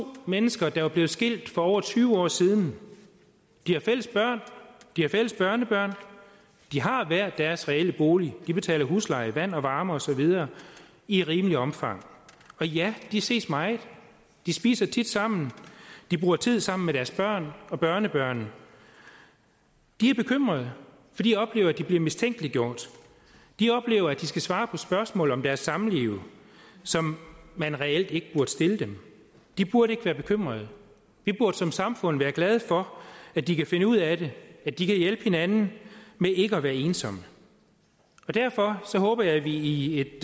mennesker der er blevet skilt for over tyve år siden de har fælles børn de har fælles børnebørn de har hver deres reelle bolig de betaler husleje vand og varme og så videre i rimeligt omfang og ja de ses meget de spiser tit sammen de bruger tid sammen med deres børn og børnebørn de er bekymrede for de oplever at de bliver mistænkeliggjort de oplever at de skal svare på spørgsmål om deres samliv som man reelt ikke burde stille dem de burde ikke være bekymrede vi burde som samfund være glade for at de kan finde ud af det at de kan hjælpe hinanden med ikke at være ensomme derfor håber jeg at vi i et